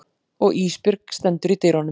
Og Ísbjörg stendur í dyrunum.